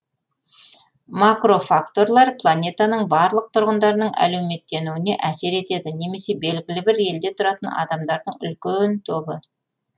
макрофакторлар планетаның барлық тұрғындарының әлеуметтенуіне әсер етеді немесе белгілі бір елде тұратын адамдардың үлкен тобы